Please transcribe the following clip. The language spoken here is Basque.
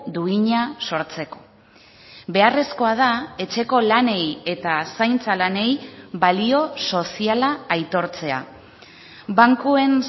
duina sortzeko beharrezkoa da etxeko lanei eta zaintza lanei balio soziala aitortzea bankuen